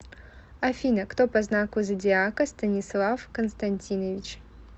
афина кто по знаку зодиака станислав константинович